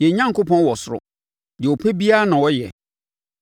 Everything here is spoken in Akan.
Yɛn Onyankopɔn wɔ ɔsoro; deɛ ɔpɛ biara na ɔyɛ.